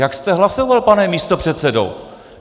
Jak jste hlasoval, pane místopředsedo?